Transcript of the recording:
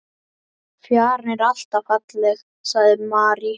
Fjaran er alltaf falleg, sagði Mary.